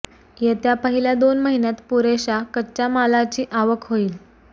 येत्या पहिल्या दोन महिन्यांत पुरेशा कच्च्या मालाची आवक होईल